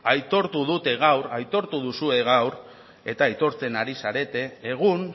aitortu dute gaur aitortu duzue gaur eta aitortzen ari zarete egun